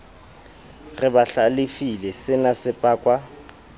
re ba hlalefile senase pakwa